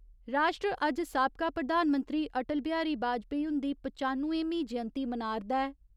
राश्ट्र अज्ज साबका प्रधानमंत्री अटल बिहारी बाजपाई हुन्दी पचानुएमीं जयंती मना 'रदा ऐ।